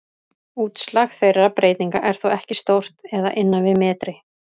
Útslag þeirra breytinga er þó ekki stórt eða innan við metri.